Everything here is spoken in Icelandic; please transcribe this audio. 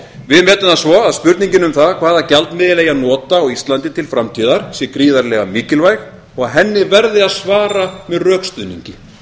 við metum það svo að spurningin um það hvaða gjaldmiðil eigi að nota á íslandi til framtíðar sé gríðarlega mikilvæg og henni verði að svara með rökstuðningi